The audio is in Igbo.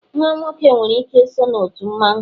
nwa nwoke nwere ike so na otu mmanwu